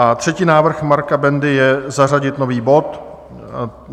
A třetí návrh Marka Bendy je zařadit nový bod.